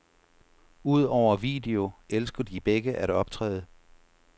Udover video elsker de begge at optræde.